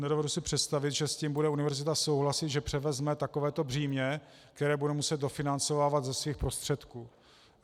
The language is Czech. Nedovedu si představit, že s tím bude univerzita souhlasit, že převezme takovéto břímě, které bude muset dofinancovávat ze svých prostředků.